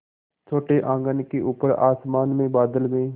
छोटे आँगन के ऊपर आसमान में बादल में